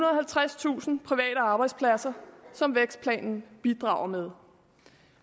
og halvtredstusind private arbejdspladser som vækstplanen bidrager med